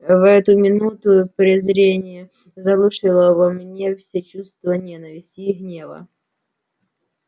в эту минуту презрение заглушило во мне все чувства ненависти и гнева